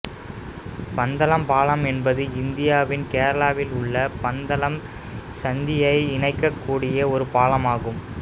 பந்தளம் பாலம் என்பது இந்தியாவின் கேரளாவிலுள்ள பந்தளம் சந்தியை இணைக்கக்கூடிய ஒரு பாலமாகும்